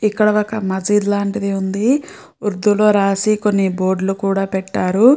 ఇక్కడ ఒక మసీద్ లాంటిది ఉంది. ఉర్దూ లో రాసి కొన్ని బోర్డులు కూడా పెట్టారు.